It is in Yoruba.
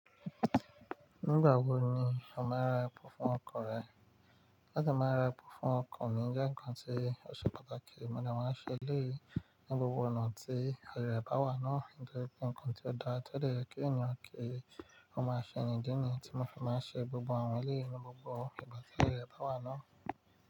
Nígbà wo ni o máa ra epo fún ọkọ̀ rẹ? Láti máa ra epo fún ọkọ̀ mi jẹ́ nǹkan tí ó ṣe pàtàkì, mo dẹ̀ máa ń ṣe eléyìí ní gbogbo ọ̀nà tí ààyè rẹ̀ bá wà náà. Nítorí pé nǹkan tí ó dáa tó dẹ̀ jẹ́ kí ènìyàn ki ó máa ṣe ni, ìdí nìyí tí mo fi máa ń ṣe gbogbo àwọn èléyìí ní gbogbo ìgbà tí ààyè rẹ̀ bá wà náà.